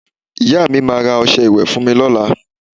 Ìyá mi máa ra ọsẹ ìwẹ́ fún mi lọ́la